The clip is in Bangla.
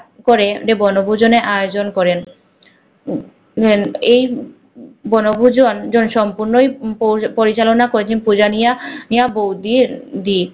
পরে দে বনভুজনের আয়োজন করেন এই বনভূজন জন সর্ম্পন্ন পো পরিচালনা কোচিং পূঁজা নিয়া নিয়ার বৌ দির উহ দি